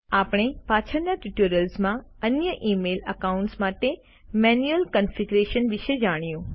આપણે પાછળના ટ્યુટોરિયલ્સમાં અન્ય ઇમેઇલ એકાઉન્ટ્સ માટે મેન્યુલ ક્ન્ફીગ્યુરેશન વિશે જાણીશું